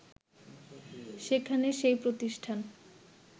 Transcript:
সেখানে সেই প্রতিষ্ঠান